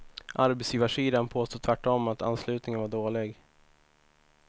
Arbetsgivarsidan påstår tvärtom att anslutningen var dålig.